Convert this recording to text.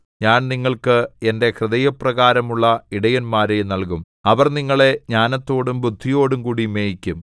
ഞാൻ നിങ്ങൾക്ക് എന്റെ ഹൃദയപ്രകാരമുള്ള ഇടയന്മാരെ നല്കും അവർ നിങ്ങളെ ജ്ഞാനത്തോടും ബുദ്ധിയോടും കൂടി മേയിക്കും